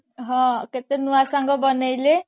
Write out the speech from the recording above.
ହଁ କେତେ ନୂଆ ସାଙ୍ଗ ବନେଇଲେ